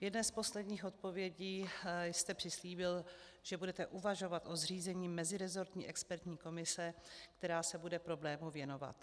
V jedné z posledních odpovědí jste přislíbil, že budete uvažovat o zřízení meziresortní expertní komise, která se bude problému věnovat.